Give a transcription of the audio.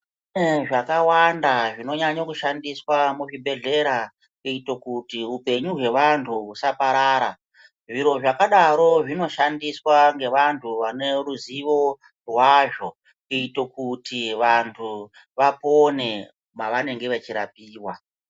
Kune zvakawanda zvinonyanyo kushandiswa muzvibhedhlera, kuyito kuti upenyu hwevantu husaparara, zviro zvakadaro zvinoshandiswa ngevantu vane ruzivo hwazvo, kuyito kuti vantu vapone mavanenge vachirapiwa.